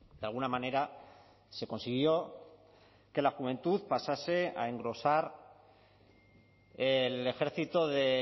de alguna manera se consiguió que la juventud pasase a engrosar el ejército de